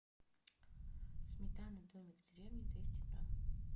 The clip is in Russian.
сметана домик в деревне двести грамм